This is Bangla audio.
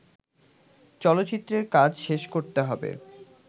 চলচ্চিত্রের কাজ শেষ করতে হবে